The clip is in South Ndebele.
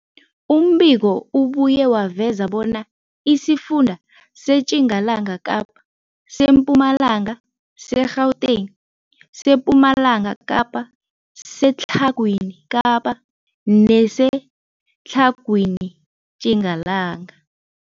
Umbiko ubuye waveza bona isifunda seTjingalanga Kapa, seMpumalanga, seGauteng, sePumalanga Kapa, seTlhagwini Kapa neseTlhagwini Tjingalanga.